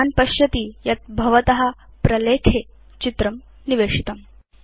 भवान् पश्यति यत् भवत प्रलेखे चित्रं निवेशितम्